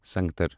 سنگتر